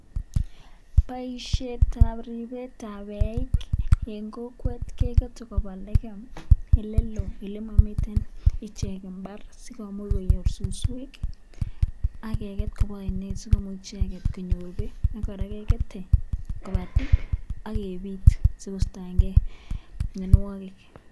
Boishetab ribetab eiik en kokwet kekere koba lekeem eleloo elemomiten ichek imbar sikomuch konyor suswek ak keket kobaa ainet sikomuch icheket konyor beek ak kora kekete kobaa tip ak kebit sikostoeng'e mionwokik.